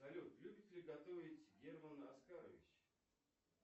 салют любит ли готовить герман оскарович